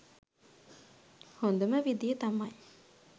හොඳම විධිය තමයි